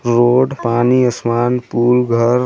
road पानी असमान पुल घर--